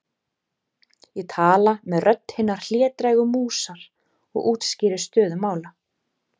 Ég tala með rödd hinnar hlédrægu músar og útskýri stöðu mála.